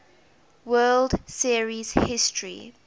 world series history